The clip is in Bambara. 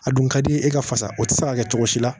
A dun ka di ye e ka fasa o tɛ se ka kɛ cogo si la